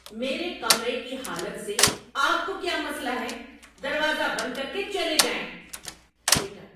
میرے کمرے کی حالت سے آپ کو کیا مسئلہ ہے؟ دروازہ بند کر کے چلے جائیں۔ (بیٹا)